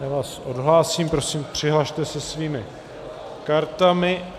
Já vás odhlásím, prosím, přihlaste se svými kartami.